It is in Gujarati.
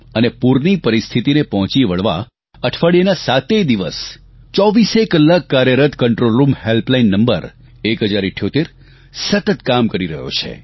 અને પૂરની પરિસ્થિતિને પહોંચી વળવા અઠવાડિયાના સાતેય દિવસ ચોવીસેય કલાક કાર્યરત કન્ટ્રોલરૂમ હેલ્પ લાઇન નંબર 1078 સતત કામ કરી રહ્યો છે